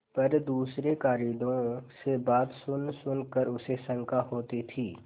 पर दूसरे कारिंदों से बातें सुनसुन कर उसे शंका होती थी